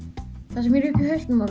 það sem er uppi í hausnum á